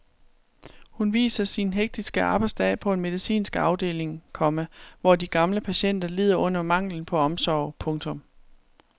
Hun viser sin hektiske arbejdsdag på en medicinsk afdeling, komma hvor de gamle patienter lider under manglen på omsorg. punktum